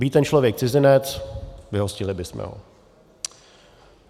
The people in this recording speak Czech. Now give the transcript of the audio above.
Být ten člověk cizinec, vyhostili bychom ho.